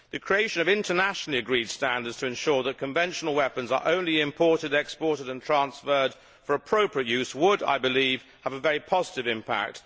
The creation of internationally agreed standards to ensure that conventional weapons are only imported, exported and transferred for appropriate use would, I believe, have a very positive impact.